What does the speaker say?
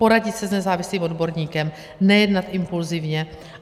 Poradit se s nezávislým odborníkem, nejednat impulzivně.